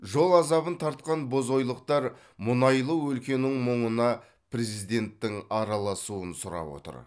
жол азабын тартқан бозойлықтар мұнайлы өлкенің мұңына президенттің араласуын сұрап отыр